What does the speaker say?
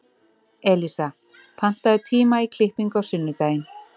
Elísa, pantaðu tíma í klippingu á sunnudaginn.